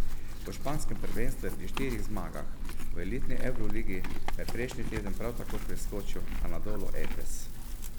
V španskem prvenstvu je pri štirih zmagah, v elitni evroligi pa je prejšnji teden prav tako preskočil Anadolu Efes.